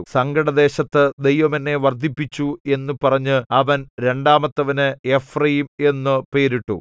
സങ്കടദേശത്തു ദൈവം എന്നെ വർദ്ധിപ്പിച്ചു എന്നു പറഞ്ഞ് അവൻ രണ്ടാമത്തവന് എഫ്രയീം എന്നു പേരിട്ടു